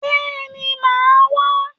Bẹ́ẹ̀ni màá wá